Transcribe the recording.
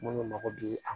Munnu mago bi an